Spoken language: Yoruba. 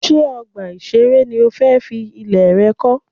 Ṣé ọgbà ìṣeré ni o fẹ́ fi ilẹ̀ rẹ kọ́?